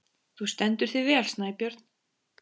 Þú stendur þig vel, Snæbjörn!